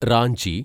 Ranchi